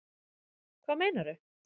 Hvað meinarðu?